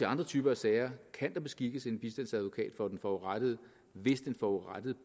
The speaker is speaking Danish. andre typer af sager kan der beskikkes en bistandsadvokat for den forurettede hvis den forurettede